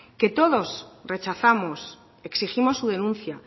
que todos rechazamos exigimos su denuncia